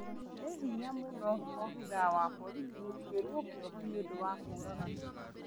Nĩ hinya mũno abithaa wa borithi gũtuĩrwo kĩoho nĩũndũ wa kũũraga